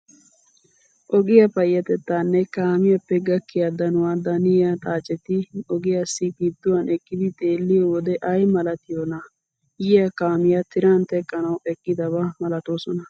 Ogiyaa payyatettaanne kaamiyaappe gakkiyaa danuwaa daniyaa xaaceti ogiyaasi gidduwaan eqqidi xeelliyoo wode ayi malatiyoonaa. Yiyaa kaamiyaa tiran teqqanawu eqqidaba malatoosona.